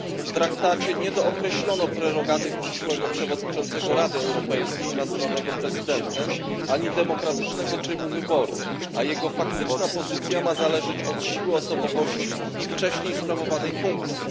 W traktacie nie dookreślono prerogatyw przyszłego przewodniczącego Rady Europejskiej nazywanego prezydentem ani demokratycznego trybu wyboru, a jego faktyczna pozycja ma zależeć od siły osobowości i wcześniej sprawowanej funkcji.